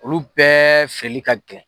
Olu bɛɛ fɛli ka gɛlɛn.